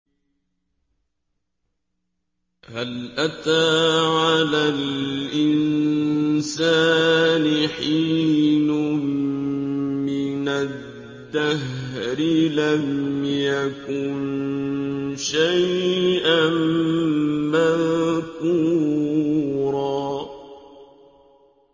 هَلْ أَتَىٰ عَلَى الْإِنسَانِ حِينٌ مِّنَ الدَّهْرِ لَمْ يَكُن شَيْئًا مَّذْكُورًا